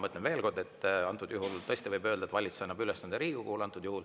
Ma ütlen veel kord: antud juhul tõesti võib öelda, et valitsus annab ülesande Riigikogule.